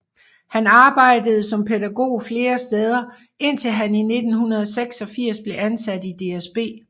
Han arbejdede som pædagog flere steder indtil han i 1986 blev ansat i DSB